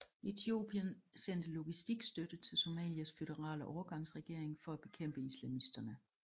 Etiopien sendte logistikstøtte til Somalias føderale overgangsregering for at bekæmpe islamisterne